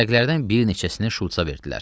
Vərəqlərdən bir neçəsini Şulçsa verdilər.